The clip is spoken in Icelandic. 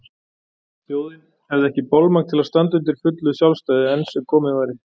Þjóðin hefði ekki bolmagn til að standa undir fullu sjálfstæði enn sem komið væri.